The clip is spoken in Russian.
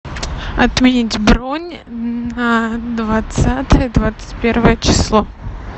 отменить бронь на двадцатое двадцать первое число